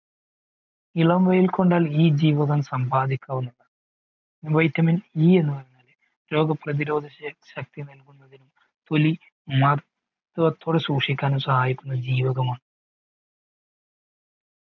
ഇളം വയിൽ കൊണ്ടാൽ ഈ ജീവകം സമ്പാദിക്കാവുന്നതാണ് vitaminE എന്ന് പറയുന്നത് രോഗപ്രതിരോധ ശക്തി നൽകുന്നതിനും തൊലി മാർത്വത്തം പോലെ സൂക്ഷിക്കുന്ന ജീവകമാണ്